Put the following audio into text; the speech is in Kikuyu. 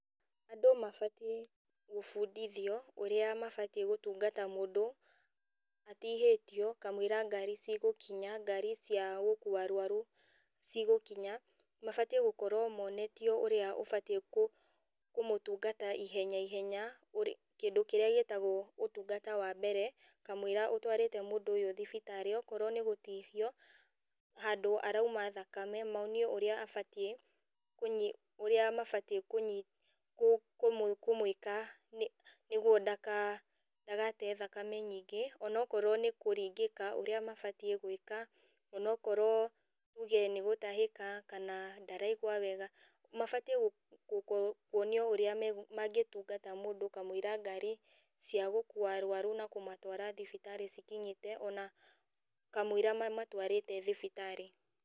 Andũ mabatiĩ kũbundithio ũrĩa mabatiĩ gũtungata mũndũ atihĩtio kamũira ngari cigũkinya cia gũkua arũaru cigũkinya, mabatiĩ gũkorũo monetio ũrĩa ũbatiĩ kũmũtungata ihenya ihenya, kĩndũ kĩrĩa gĩtagũo ũtungata wa mbere kamũira ũtũarĩte mũndũ ũyũ thibitarĩ. Okorũo nĩ gũtihio handũ aroima thakame monio ũrĩa mabatiĩ kũmũĩka nĩguo ndagate thakame nyingĩ. Ona okorũo nĩ kũringĩka ũrĩa mabatiĩ gũĩka ona okorũo tuge nĩ gũtahĩka kana ndaraigua wega. Mabatiĩ kuonio ũrĩa mangĩtungata mũndũ kamũira ngari cia gũkua arũaru kũmatwara thibitarĩ cikinyĩte ona kamũira mamatũarĩte thibitarĩ.